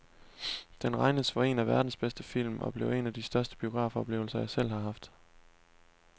Den regnes for en af verdens bedste film og blev en af de største biografoplevelser, jeg selv har haft.